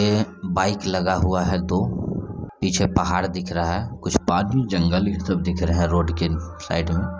ये बाइक लगा हुआ है दो पीछे पहाड़ दिख रहा है कुछ आदमी जंगल ये सब दिख रहे है रोड के साइड में।